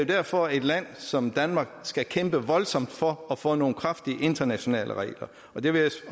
derfor et land som danmark skal kæmpe voldsomt for at få nogle kraftige internationale regler og det vil